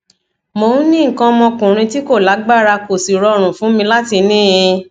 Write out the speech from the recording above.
mo ń ní nǹkan ọmọkuùnrin tí kò lágbára kò sì rọrùn fún mi láti ní in